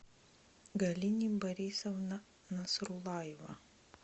галине борисовна насруллаева